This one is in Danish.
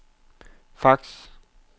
fax